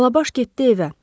Alabaş getdi evə.